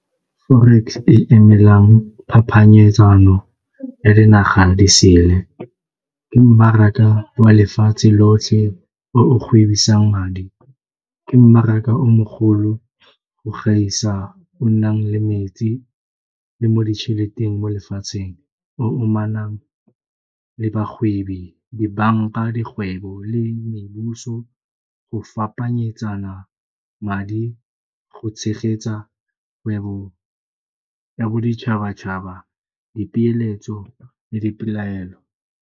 Forex e emelang phapanyetsano ya dinaga disele ke mmaraka wa lefatshe lotlhe o o gwebisang madi, ke mmaraka o mogolo go gaisa o nnang le metsi le mo ditšheleteng mo lefatsheng, o amanang le bagwebi, dibanka, dikgwebo le mebusong mo go fapanyetsana madi go tshegetsa kgwebo ya boditšhabatšhaba, dipeeletso le dipelaelo.